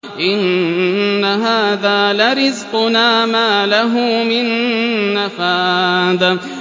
إِنَّ هَٰذَا لَرِزْقُنَا مَا لَهُ مِن نَّفَادٍ